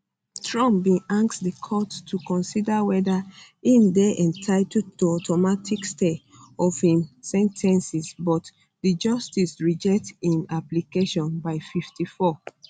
trump bin ask di court to consider weda im dey entitled to automatic stay of im sen ten cing but di justices reject im application by 54